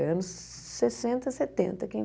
É anos sessenta, setenta que